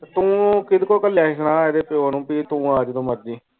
ਤੂੰ ਕੀੜੇ ਕੋਲੂ ਕਾਲੀਆ ਸੁਣਿਆ ਐਡੇ ਪਿਯੋ ਨੂੰ ਵੀ ਤੂੰ ਆ ਜਾਦੂ ਮਰਜ਼ੀ